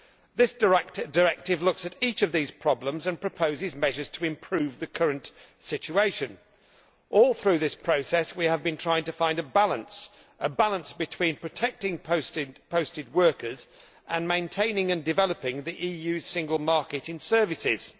This directive looks at each of these problems and proposes measures to improve the current situation. All through this process we have been trying to find a balance a balance between protecting posted workers and maintaining and developing the EU's single market in services.